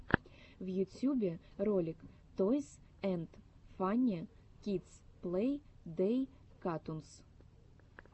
в ютюбе ролик тойс энд фанни кидс плей дей катунс